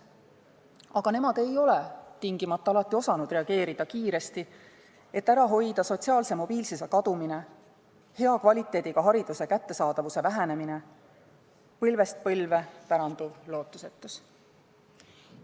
Aga nemad ei ole alati osanud piisavalt kiiresti reageerida, et hoida ära sotsiaalse mobiilsuse kadumine ja kvaliteetse hariduse kättesaadavuse vähenemine ning vältida põlvest põlve päranduvat lootusetust.